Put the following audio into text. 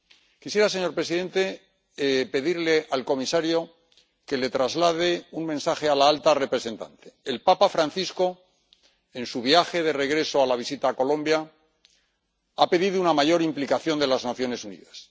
Quisiera, señor presidente, pedirle al comisario que traslade un mensaje a la alta representante el papa Francisco, en su viaje de regreso a la visita a Colombia, ha pedido una mayor implicación de las Naciones Unidas.